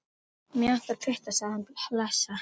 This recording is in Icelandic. Mig vantar bara putta, sagði hann hlessa.